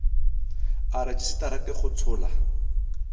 a rejisetara ke go tshola